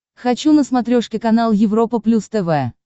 хочу на смотрешке канал европа плюс тв